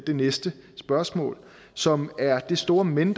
det næste spørgsmål som er det store men